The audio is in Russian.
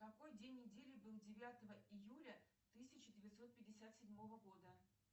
какой день недели был девятого июля тысяча девятьсот пятьдесят седьмого года